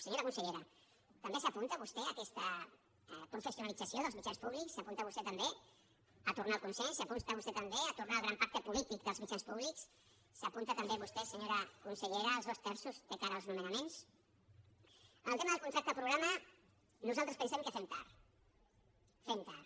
senyora consellera també s’apunta vostè a aquesta professionalització dels mitjans públics s’apunta vostè també a tornar al consens s’apunta vostè també a tornar al gran pacte polític dels mitjans públics s’apunta també vostè senyora consellera als dos terços de cara als nomenaments en el tema del contracte programa nosaltres pensem que fem tard fem tard